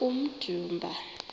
kummdumba